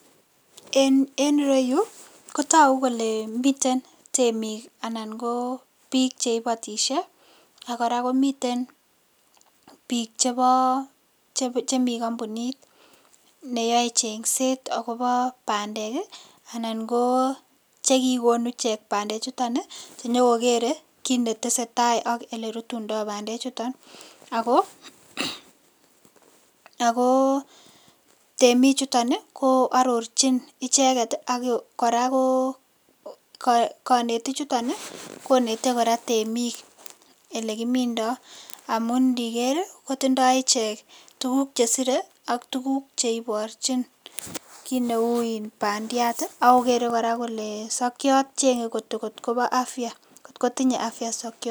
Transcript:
En ireyu kotoku kole miten temik anan ko piik che ibotisie ak kora komiten piik chebo chemi kampunit ne yoe chengset akobo bandek ii anan ko chekikonu ichek bandechuton ii, chenyokokerei kiit ne tesetai ak ele rutundoi bandechuton, ako temik chuton ii ko arorchin icheket ii ak kora ko kanetichuton ii koneti kora temik ele kimindoi, amun ndiker ii kotindoi ichek tukuk che sirei ak tukuk cheiborchin kiit neu in bandiat ii, ako kere kora kole sokiot ii chenge kot kobo afya kot kotinye afya sokiot.